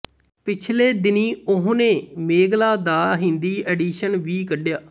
ਪਿਛਲੇ ਦਿਨੀਂ ਉਹਨੇ ਮੇਘਲਾ ਦਾ ਹਿੰਦੀ ਐਡੀਸ਼ਨ ਵੀ ਕੱਢਿਆ